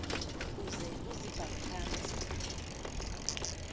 uze uzibhale phantsi